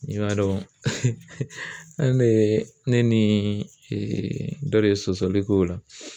I b'a dɔn an de ye ne ni dɔ de ye sɔsɔli k'o la.